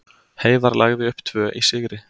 Heiðar lagði upp tvö í sigri